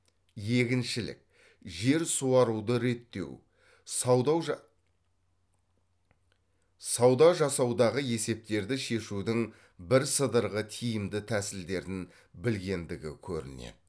егіншілік жер суаруды реттеу сауда жасаудағы есептерді шешудің бірсыдырғы тиімді тәсілдерін білгендігі көрінеді